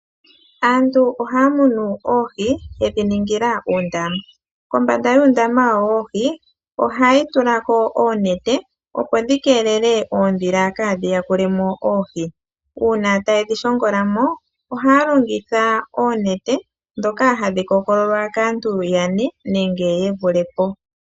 Aantu ohaa munu oohi yedhi ningila uundaama. Kombanda yuundama wawo woohi ohaya tula ko oonete, opo dhi kelele oondhila kaadhi yakule mo oohi. Uuna taye dhi shongola mo ohaya longitha oonete ndhoka hadhi kookololwa kaantu ye li yane nenge ye vule po.